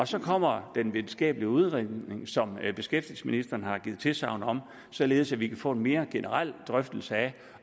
så kommer den videnskabelige udredning som beskæftigelsesministeren har givet tilsagn om således at vi kan få en mere generel drøftelse af